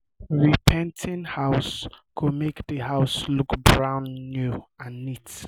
repainting house go make the house look brand new and neat